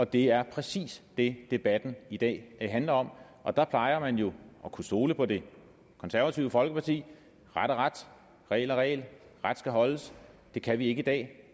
det er præcis det debatten i dag handler om og der plejer man jo at kunne stole på det konservative folkeparti ret er ret regel er regel ret skal holdes det kan vi ikke i dag